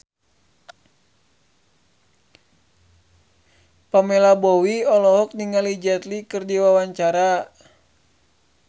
Pamela Bowie olohok ningali Jet Li keur diwawancara